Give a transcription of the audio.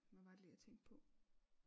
Hvad var det lige jeg tænkte på